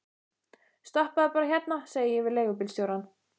Stoppaðu bara hérna, segi ég við leigubílstjórann.